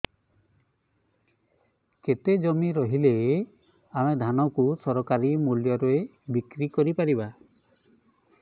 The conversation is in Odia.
କେତେ ଜମି ରହିଲେ ଆମେ ଧାନ କୁ ସରକାରୀ ମୂଲ୍ଯରେ ବିକ୍ରି କରିପାରିବା